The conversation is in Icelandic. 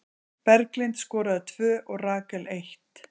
Berglind skoraði tvö og Rakel eitt.